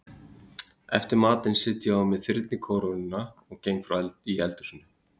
Eftir matinn set ég á mig þyrnikórónuna og geng frá í eldhúsinu.